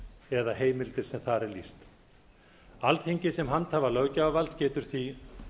eða heimildir sem þar er lýst alþingi sem handhafi löggjafarvalds getur því